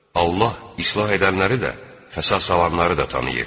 Allah islah edənləri də, fəsad salanları da tanıyır.